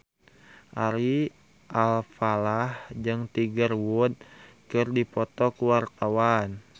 Ari Alfalah jeung Tiger Wood keur dipoto ku wartawan